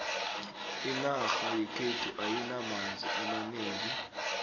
inarha yekhethu ayinamanzi amanengi